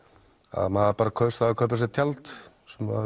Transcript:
að maður kaus að kaupa sér tjald sem